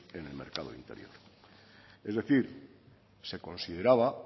en el mercado interior es decir se consideraba